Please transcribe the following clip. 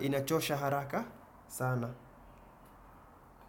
inachosha haraka sana.